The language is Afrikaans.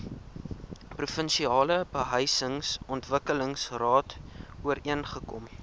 provinsiale behuisingsontwikkelingsraad ooreengekom